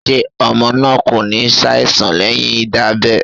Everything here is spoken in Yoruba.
Ṣé ọmọ náà kò ní ṣàìsàn leyin Ìdábẹ́?..